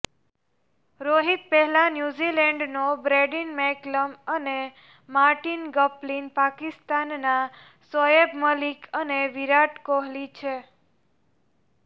રોહિત પહેલા ન્યુઝીલેન્ડનો Brendon McCullum અને માર્ટિન ગપ્ટિલ પાકિસ્તાનના શોએબ મલિક અને વિરાટ કોહલી છે